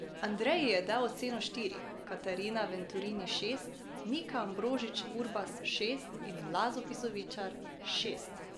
Andrej ji je dal oceno štiri, Katrina Venturini šest, Nika Ambrožič Urbas šest in Lado Bizovičar šest.